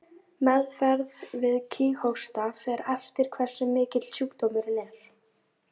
Meðferð við kíghósta fer eftir hversu mikill sjúkdómurinn er.